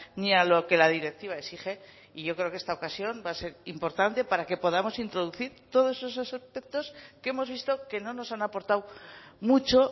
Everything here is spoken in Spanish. ni a lo que la directiva exige y yo creo que esta ocasión va a ser importante para que podamos introducir todos esos aspectos que hemos visto que no nos han aportado mucho